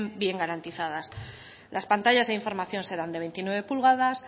bien garantizadas las pantallas de información serán de veintinueve pulgadas